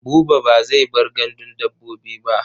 Buba ba zai bar gandun dabbobi ba.